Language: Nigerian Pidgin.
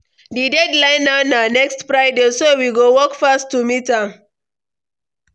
Di deadline now na next Friday, so we go work fast to meet am.